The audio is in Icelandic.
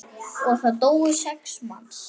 Og það dóu sex manns.